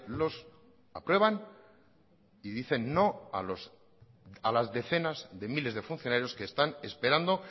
los aprueban y dicen no a las decenas de miles de funcionarios que están esperando